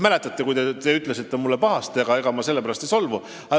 Mäletate, kui te ütlesite mulle pahasti, aga ega ma sellepärast ei solvu.